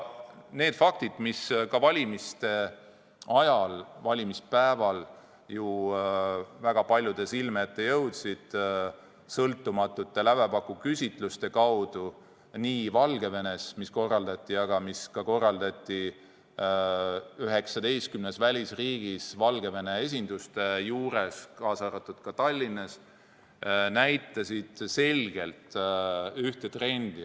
Need faktid, mis valimispäeval jõudsid avalikkuse ette tänu sõltumatutele lävepakuküsitlustele nii Valgevenes kui ka 19 välisriigis Valgevene esinduste juures, kaasa arvatud Tallinnas, näitasid selgelt ühte trendi.